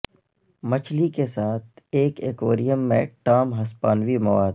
مچھلی کے ساتھ ایک ایکویریم میں ٹام ہسپانوی مواد